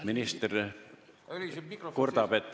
Minister kurdab, et ei ole hästi kuulda.